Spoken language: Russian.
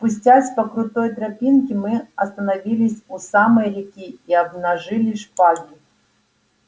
спустясь по крутой тропинке мы остановились у самой реки и обнажили шпаги